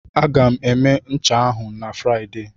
Aga m eme ncha ahụ na Fraịde.